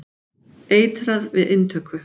Eitrað við inntöku.